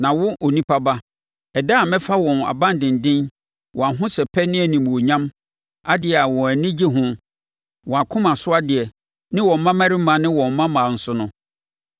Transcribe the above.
“Na wo, onipa ba, ɛda a mɛfa wɔn aban denden, wɔn ahosɛpɛ ne animuonyam, adeɛ a wɔn ani gye ho, wɔn akoma so adeɛ, ne wɔn mmammarima ne wɔn mmammaa nso no,